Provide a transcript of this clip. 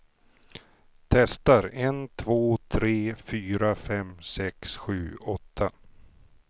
Testar en två tre fyra fem sex sju åtta.